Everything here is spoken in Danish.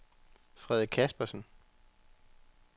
Frede Caspersen